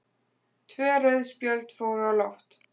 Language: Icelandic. Tvö rauð spjöld fóru á loft